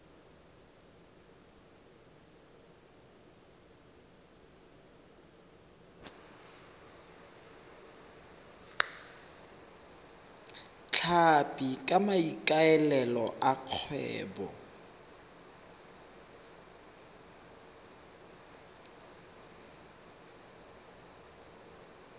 tlhapi ka maikaelelo a kgwebo